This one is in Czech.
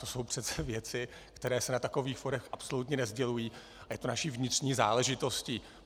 To jsou přece věci, které se na takových fórech absolutně nesdělují, a je to naší vnitřní záležitostí.